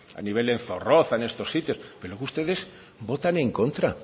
a nivel en zorroza en estos sitios pero ustedes votan en contra